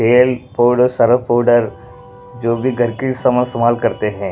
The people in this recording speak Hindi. तेलपाउडरसर्फ पाउडर जो भी घर की समा इस्तेमाल करते हैं।